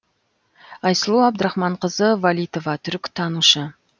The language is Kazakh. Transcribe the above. айсұлу абдрахманқызы валитова түркітанушы